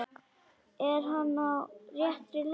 Er hann á réttri leið?